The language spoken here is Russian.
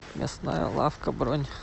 мясная лавка бронь